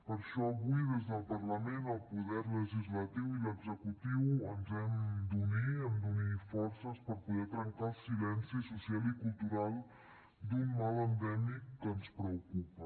per això avui des del parlament el poder legislatiu i l’executiu ens hem d’unir hem d’unir forces per poder trencar el silenci social i cultural d’un mal endèmic que ens preocupa